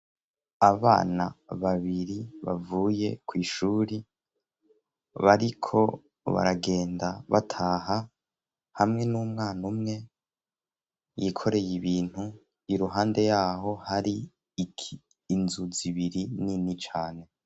abana babiri bavuye kwishuri bariko baragenda bataha hamwe n'umwana umwe yikoreye ibintu iruhande yaho hari inzuzi ibiri nini cane